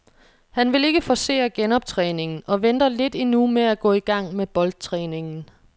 Han vil ikke forcere genoptræningen og venter lidt endnu med at gå i gang med boldtræningen.